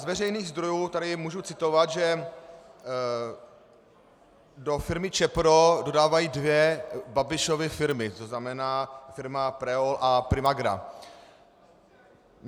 Z veřejných zdrojů tady můžu citovat, že do firmy Čepro dodávají dvě Babišovy firmy, to znamená firma Preol a Primagra.